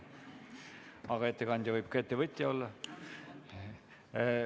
Aga ettekandja võib ka ettevõtja olla.